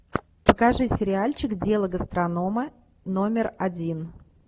покажи сериальчик дело гастронома номер один